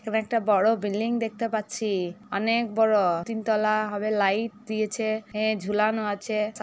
এখানে একটা বড়ো বিল্ডিং দেখতে পাচ্ছি-ই অনেক বড়ো। তিন তলা হবে লাইট দিয়েছে এ ঝুলানো আছে সা--